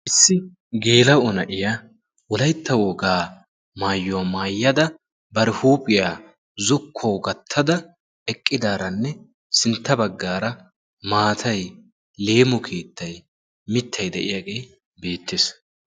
issi geela7o na7iya wolaitta wogaa maayyuwaa maayyada bar huuphiyaa zokkuwawu gattada eqqidaaranne sintta baggaara maatai leemo keettai mittai de7iyaagee beettees